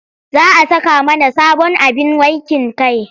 Za a saka mana sabon abin wankin kai.